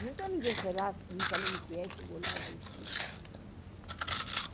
Nunca ninguém foi lá não sabendo o que era e chegou lá, era isso, né?